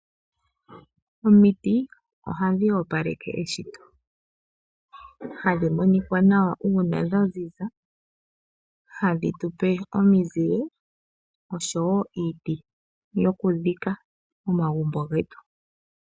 Omiti oha dhi opaleke eshito. Oha dhi monika nawa uuna dha ziza, ha dhi tu pe omizile osho wo iiti yokudhika omagumbo getu.